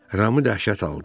Ramı dəhşət aldı.